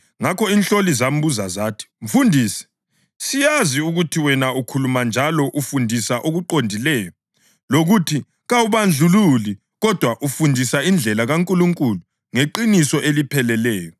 Ngakho inhloli zambuza zathi, “Mfundisi, siyazi ukuthi wena ukhuluma njalo ufundisa okuqondileyo lokuthi kawubandlululi kodwa ufundisa indlela kaNkulunkulu ngeqiniso elipheleleyo.